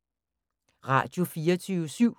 Radio24syv